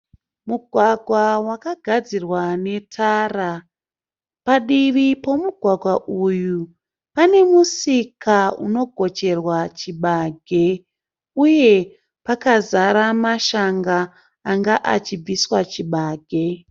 Mugwagwa wakagadzirwa netara. Padivi pomugwagwa uyu pane musika unogocherwa chibage uye pakazara mashanga anga achibviswa chibage.